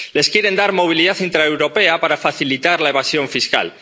Les quieren dar movilidad intraeuropea para facilitar la evasión fiscal.